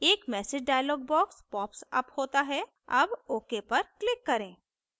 एक message dialog box popsअप होता है अब ok पर click करें